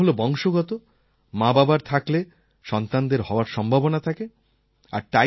type 1 হল বংশগত মাবাবার থাকলে সন্তানদের হওয়ার সম্ভাবনা থাকে